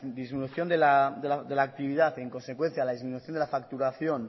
disminución de la actividad y en consecuencia la disminución de la facturación